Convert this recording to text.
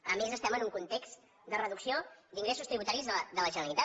a més estem en un context de reducció d’ingressos tributaris de la generalitat